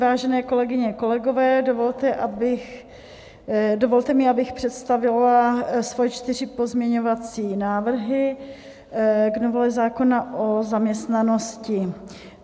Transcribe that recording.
Vážené kolegyně, kolegové, dovolte mi, abych představila svoje čtyři pozměňovací návrhy k novele zákona o zaměstnanosti.